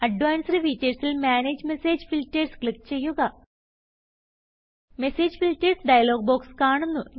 advanced features ൽ manage message filters click ചെയ്യുക message filters dialog box കാണുന്നു